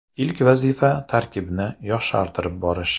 Ilk vazifa tarkibni yoshartirib borish.